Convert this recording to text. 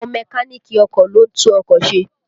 Àwọn Mẹ́káníìkì ọkọ̀ ló ń tún ọkọ̀ ṣe